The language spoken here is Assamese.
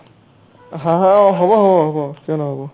হ'ব হ'ব হ'ব কিয় নহ'ব ?